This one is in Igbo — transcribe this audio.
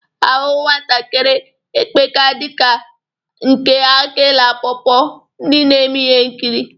Ahụ nwatakiri epeka dị ka nke akị na pọ pọ, ndị na-eme ihe nkiri.